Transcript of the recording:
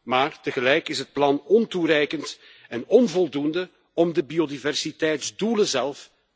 Maar tegelijk is het plan ontoereikend en onvoldoende om de biodiversiteitsdoelen